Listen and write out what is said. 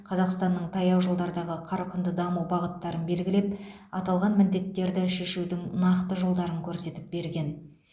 қазақстанның таяу жылдардағы қарқынды даму бағыттарын белгілеп аталған міндеттері шешудің нақты жолдарын көрсетіп берген